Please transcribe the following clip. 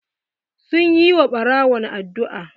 Sun yi wa ɓarawon addu'a.